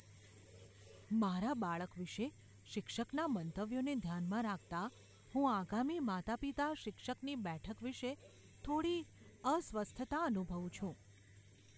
મારા બાળક વિશે શિક્ષકના મંતવ્યોને ધ્યાનમાં રાખતાં હું આગામી માતાપિતા શિક્ષકની બેઠક વિશે થોડી અસ્વસ્થતા અનુભવું છું.